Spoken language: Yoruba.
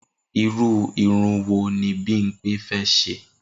Irú irun wo ni Bímpé fé̩ s̩e?